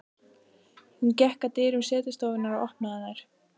Hún gekk að dyrum setustofunnar og opnaði þær.